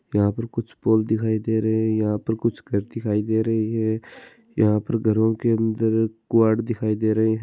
यहाँ पर कुछ पोल दिखाई दे रहे है यहाँ पर कुछ घर दिखाइ दे रही है यहाँ पर घरो के अंदर कुवाड़ दिखाई दे रहे है।